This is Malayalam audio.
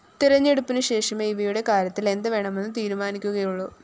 തെരഞ്ഞെടുപ്പിന് ശേഷമേ ഇവയുടെ കാര്യത്തില്‍ എന്ത് വേണമെന്ന് തീരുമാനിക്കുകയുളളു